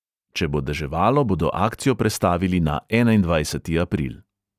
Če bo deževalo, bodo akcijo prestavili na enaindvajseti april.